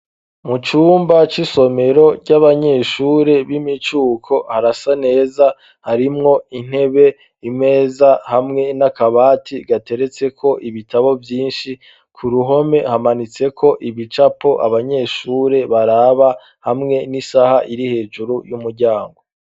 Mu cumba c'isomero c'abanyeshure b'imicuko harasa neza harimwo intebe imeza hamwe n'akabati gateretse ko ibitabo vyinshi ku ruhome hamanitseko ibicapo abanyeshure baraba hamwe n'isaha iri hejuru y'umuryango.